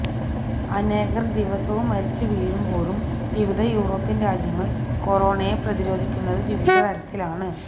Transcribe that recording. അനേകർ ദിവസവും മരിച്ച് വീഴുമ്പോഴും വിവിധ യൂറോപ്യൻ രാജ്യങ്ങൾ കൊറോണയെ പ്രതിരോധിക്കുന്നത് വിവിധ തരത്തിലാണ്